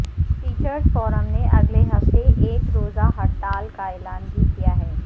teachers forum نے اگلے ہفتے ایک روزہ ہڑتال کا اعلان بھی کیا ہے